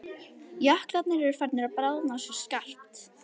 Jöklarnir eru farnir að bráðna svo skarpt.